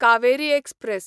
Kaveri express